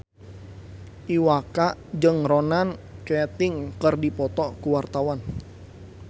Iwa K jeung Ronan Keating keur dipoto ku wartawan